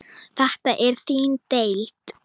Þetta er þín deild.